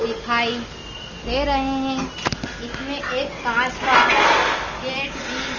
दिखाइ दे रहे हैं इसमें एक कांच का गेट भी--